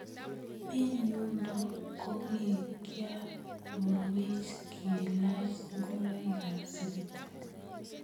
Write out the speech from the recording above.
Eng yundo kokikiarorweech kelaach ingoroiikab sipitali.